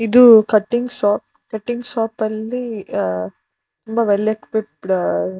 ಇದು cutting shop . Cutting shop ಅಲ್ಲಿ